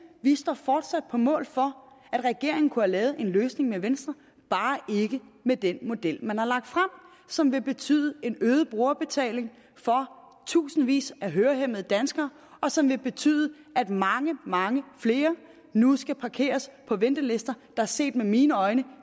vi står fortsat på mål for at regeringen kunne have lavet en løsning med venstre bare ikke med den model man har lagt frem som vil betyde en øget brugerbetaling for tusindvis af hørehæmmede danskere og som vil betyde at mange mange flere nu skal parkeres på ventelister der set med mine øjne